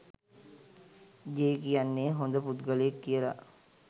J කියන්නේ හොඳ පුද්ගලයෙක් කියලා